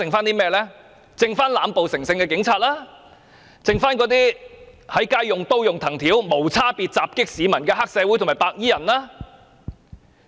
便是濫暴成性的警察、在街上用刀和藤條無差別襲擊市民的黑社會和白衣人。